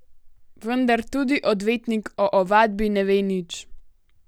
Vendar tudi odvetnik o ovadbi ne ve nič.